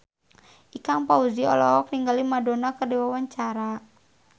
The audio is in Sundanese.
Ikang Fawzi olohok ningali Madonna keur diwawancara